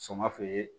Sɔngɔ feere